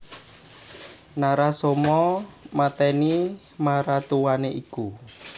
Narasoma matèni maratuwané iku